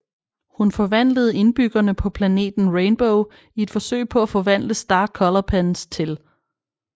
Hun forvandlede indbyggerne på planeten Rainbow i et forsøg på at forvandle Star Color Pens til